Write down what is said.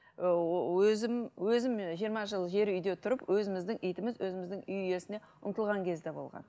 ыыы өзім өзім ы жиырма жыл жер үйде тұрып өзіміздің итіміз өзіміздің үй иесіне ұмтылған кез де болған